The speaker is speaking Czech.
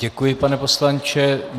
Děkuji, pane poslanče.